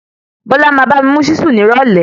Bọ́lá máa bá mi mú ṣíṣù ní ìrọ̀lẹ́.